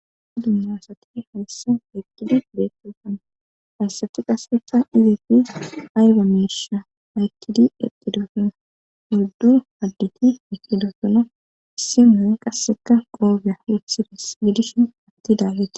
Dumma asati hayssa eqqidi beettosana hayssati qasseka izeppe ayba miisha haykkidi eqqidofona gurdu hadditi eqidofona issi moon qasseka qoogya rithides gidishin atti daagete.